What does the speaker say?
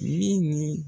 Min ni